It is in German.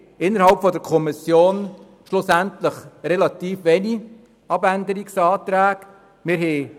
Innerhalb der Kommission gab es letztlich relativ wenige Abänderungsanträge.